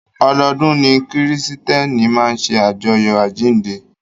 Ọdọọdún ni kírísítẹ́nì máa ṣe ajọ́yọ àjínde.